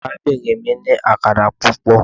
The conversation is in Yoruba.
Arabinrin mi ni akara pupọ